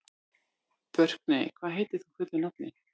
Burkney, hvað heitir þú fullu nafni?